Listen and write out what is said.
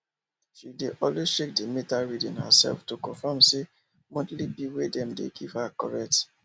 she dey always check the meter reading herself to confirm say the monthly bill we dem dey give her correct